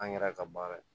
An yɛrɛ ka baara ye